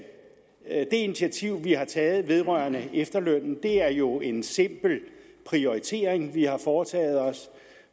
initiativ vi har taget vedrørende efterlønnen er det jo en simpel prioritering vi har foretaget